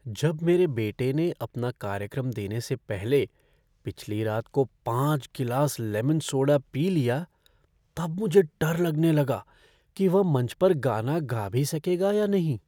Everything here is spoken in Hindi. जब मेरे बेटे ने अपना कार्यक्रम देने से पहले पिछली रात को पाँच गिलास लेमन सोडा पी लिया तब मुझे डर लगने लगा कि वह मंच पर गाना गा भी सकेगा या नहीं।